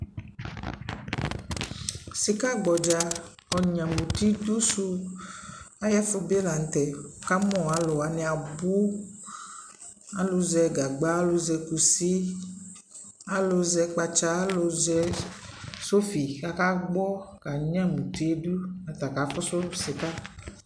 Sika gbɔdza ɔnyma uti dʋ su ayʋɛfu bi la nʋ tɛ kʋ amu alʋwani abu Alʋ zɛ gagba, alʋ zɛ kusi, alʋ zɛ kpatsa, alʋ zɛ sofi kakagbɔ kanyama uti yɛ dʋ nʋ ata kafusu sika